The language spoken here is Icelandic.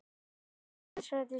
Náhvalir er grunnsævisdýr.